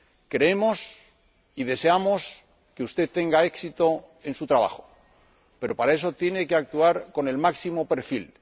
Creemos y deseamos que usted tenga éxito en su trabajo, pero para eso tiene que actuar con el máximo perfil.